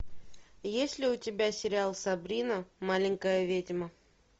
есть ли у тебя сериал сабрина маленькая ведьма